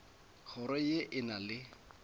kgoro ye e na le